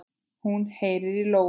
Hún heyrir í lóu.